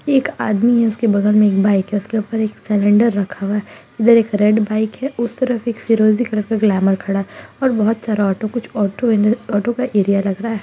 एक आदमी है उसके बगल में एक बाइक है उसके ऊपर एक सिलेंडर रखा हुआ है इधर एक रेड बाइक है उस तरफ एक फिरोजी कलर का ग्लैमर खड़ा है और बहुत सारा ऑटो कुछ ऑटो इधर ऑटो का एरिया लग रहा है।